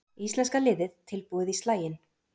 Íslenska liðið tilbúið í slaginn